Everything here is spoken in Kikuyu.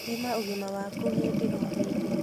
Thima ũgima waku hĩndĩ o hĩndĩ